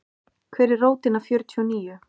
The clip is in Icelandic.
Hver er rótin af fjörtíu og níu?